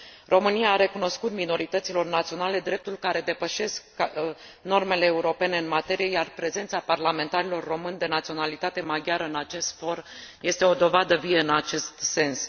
România a recunoscut minorităților naționale drepturi care depășesc normele europene în materie, iar prezența parlamentarilor români de naționalitate maghiară în acest for este o dovadă vie în acest sens.